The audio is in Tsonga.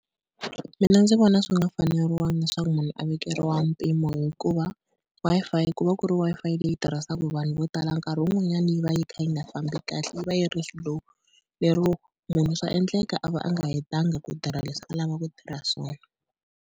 Mina ndzi vona swi nga faneriwanga leswaku munhu a vekeriwa mpimo, hikuva Wi-Fi ku va ku ri Wi-Fi leyi tirhisaka hi vanhu vo tala nkarhi wun'wanyani yi va yi kha yi nga fambi kahle yi va yi ri slow, lero munhu swa endleka a va a nga hetanga ku tirha leswi a lava ku tirha swona.